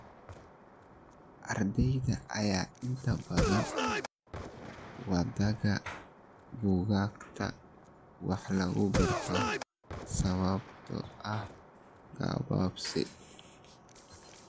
Ardeyda ayaa inta badan wadaaga buugaagta wax laga barto sababtoo ah gabaabsi.